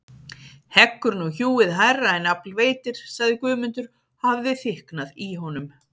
Heggur nú hjúið hærra en afl veitir, sagði Guðmundur og hafði þykknað í honum.